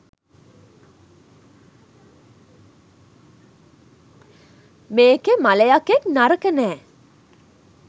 මේකෙ මළයකෙක්නරක නෑ!